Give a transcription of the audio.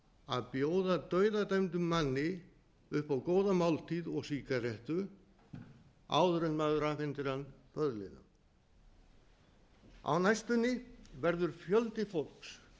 að bjóða dauðadæmdum manni upp á góða máltíð og sígarettu áður en maður afhendir hann böðlinum á næstunni verður fjöldi fólks